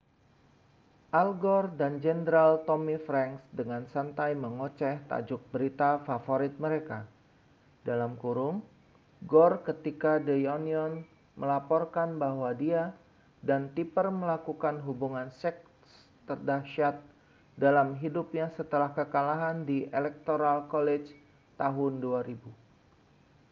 al gore dan jenderal tommy franks dengan santai mengoceh tajuk berita favorit mereka gore ketika the onion melaporkan bahwa dia dan tipper melakukan hubungan seks terdahsyat dalam hidupnya setelah kekalahan di electoral college tahun 2000